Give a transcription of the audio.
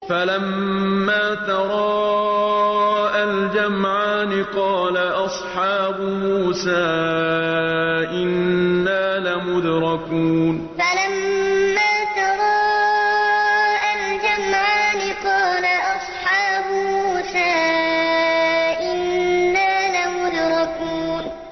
فَلَمَّا تَرَاءَى الْجَمْعَانِ قَالَ أَصْحَابُ مُوسَىٰ إِنَّا لَمُدْرَكُونَ فَلَمَّا تَرَاءَى الْجَمْعَانِ قَالَ أَصْحَابُ مُوسَىٰ إِنَّا لَمُدْرَكُونَ